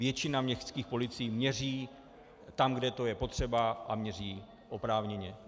Většina městských policií měří tam, kde to je potřeba, a měří oprávněně.